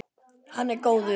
Hann er góður.